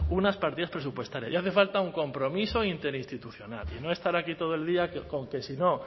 unas partidas presupuestarias y hace falta un compromiso interinstitucional y no estar aquí todo el día con que si no